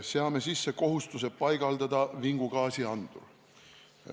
Seame sisse kohustuse paigaldada vingugaasiandur.